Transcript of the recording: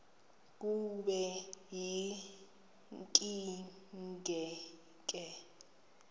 kube yinkinge ke